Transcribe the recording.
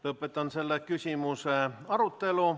Lõpetan selle küsimuse arutelu.